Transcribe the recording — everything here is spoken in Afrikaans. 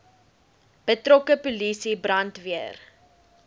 betrokke polisie brandweer